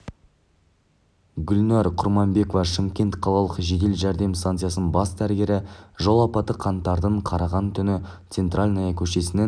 гүлнәр құрманбекова шымкент қалалық жедел жәрдем станциясының бас дәрігері жол апаты қаңтардың қараған түні центральная көшесінің